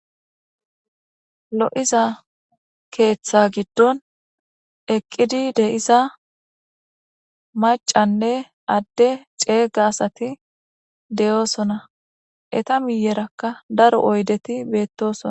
Lo'iza keetha giddon eqidi de'iza maccanne adde cega asati de'osona .eta miyeraka daro oydeti betosona.